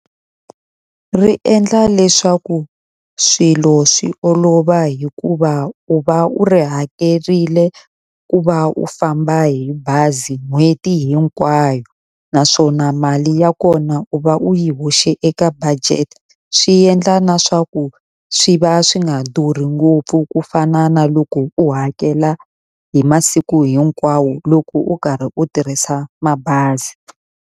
Ri endla leswaku swilo swi olova hikuva u va u ri hakerile ku va u famba hi bazi n'hweti hinkwayo. Naswona mali ya kona u va u yi hoxe eka budget, swi endla na swa ku swi va swi nga durhi ngopfu ku fana na loko u hakela hi masiku hinkwawo loko u karhi u tirhisa mabazi.